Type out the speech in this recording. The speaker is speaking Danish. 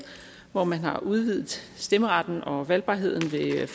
hvor man har udvidet stemmeretten og valgbarheden ved